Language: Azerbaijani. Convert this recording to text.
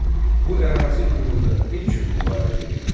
Bu ərazi uğrunda nə üçün müharibə gedirdi?